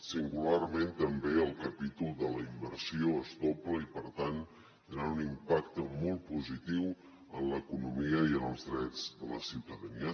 singularment també el capítol de la inversió es dobla i per tant tindrà un impacte molt positiu en l’economia i en els drets de la ciutadania